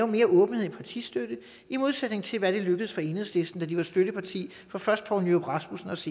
mere åbenhed i partistøtten i modsætning til hvad der lykkedes for enhedslisten da de var støtteparti for først poul nyrup rasmussens